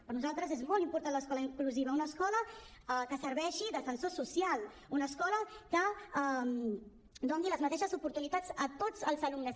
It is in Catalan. per nosaltres és molt important l’escola inclusiva una escola que serveixi d’ascensor social una escola que doni les mateixes oportunitats a tots els alumnes